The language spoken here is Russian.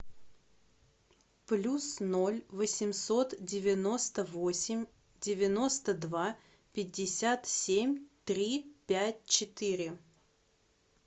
плюс ноль восемьсот девяносто восемь девяносто два пятьдесят семь три пять четыре